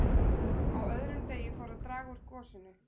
Á öðrum degi fór að draga úr gosinu.